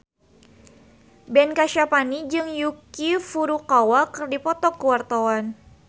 Ben Kasyafani jeung Yuki Furukawa keur dipoto ku wartawan